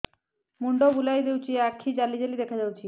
ମୁଣ୍ଡ ବୁଲେଇ ଦଉଚି ଆଖି ଜାଲି ଜାଲି ଦେଖା ଯାଉଚି